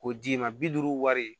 K'o d'i ma bi duuru wari